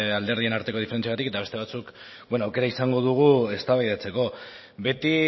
alderdien arteko diferentziengatik eta beste batzuk aukera izango dugu eztabaidatzeko beti